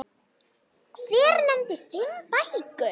Hver nefndi fimm bækur.